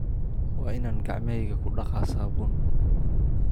Waa inaan gacmahayga ku dhaqaa saabuun.